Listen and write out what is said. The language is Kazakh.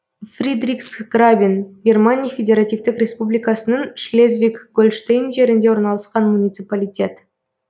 фридриксграбен германия федеративтік республикасының шлезвиг гольштейн жерінде орналасқан муниципалитет